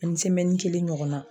Ani semɛni kelen ɲɔgɔnna